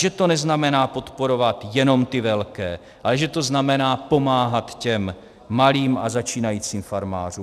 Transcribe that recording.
Že to neznamená podporovat jenom ty velké, ale že to znamená pomáhat těm malým a začínajícím farmářům.